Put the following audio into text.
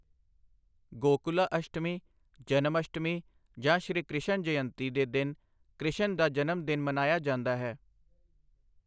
ਗੋਕੁਲਾ ਅਸ਼ਟਮੀ, ਜਨਮਅਸ਼ਟਮੀ ਜਾਂ ਸ਼੍ਰੀ ਕ੍ਰਿਸ਼ਨ ਜਯੰਤੀ ਦੇ ਦਿਨ ਕ੍ਰਿਸ਼ਨ ਦਾ ਜਨਮ ਦਿਨ ਮਨਾਇਆ ਜਾਂਦਾ ਹੈ।